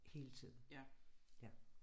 Hele tiden